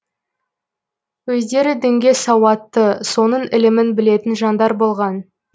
өздері дінге сауатты соның ілімін білетін жандар болған